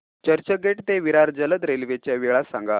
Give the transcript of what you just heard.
चर्चगेट ते विरार जलद रेल्वे च्या वेळा सांगा